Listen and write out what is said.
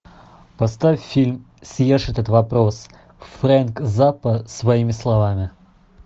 поставь фильм съешь этот вопрос фрэнк заппа своими словами